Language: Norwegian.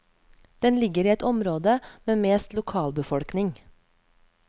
Den ligger i et område med mest lokalbefolkning.